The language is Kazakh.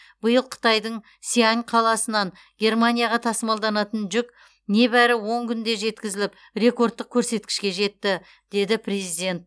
биыл қытайдың сиань қаласынан германияға тасымалданатын жүк небәрі он күнде жеткізіліп ректордтық көрсеткішке жетті деді президент